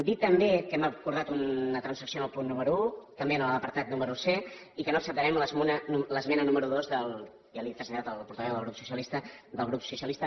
dir també que hem acordat una transacció en el punt número un també en l’apartat número c i que no acceptarem l’esmena número dos ja li ho he traslladat al portaveu del grup socialista del grup socialista